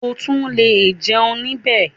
O tún le jẹun níbẹ̀.